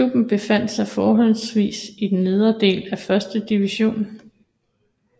Klubben befandt sig fortrinsvist i den nederste del af 1 divisionen